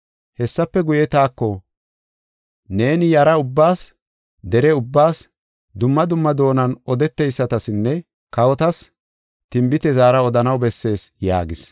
Hessafe guye, taako, “Neeni yara ubbaas, dere ubbaas, dumma dumma doonan odeteysatasinne kawotas tinbite zaara odanaw bessees” yaagis.